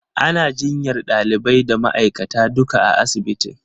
Ana jinyar ɗalibai da ma'aikata duka a asibitin.